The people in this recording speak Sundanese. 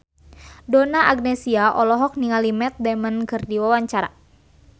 Donna Agnesia olohok ningali Matt Damon keur diwawancara